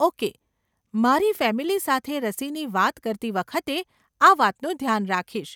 Okay, મારી family સાથે રસીની વાત કરતી વખતે આ વાતનું ધ્યાન રાખીશ.